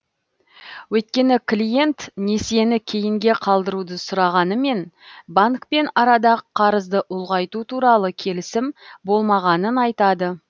өйткені клиент несиені кейінге қалдыруды сұрағанымен банкпен арада қарызды ұлғайту туралы келісім болмағанын айтады